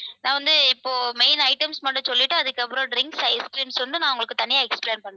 நான் வந்து இப்போ main items மட்டும் சொல்லிட்டு அதுக்கப்புறம் drinks ice creams வந்து உங்களுக்கு தனியா explain பண்றேன்.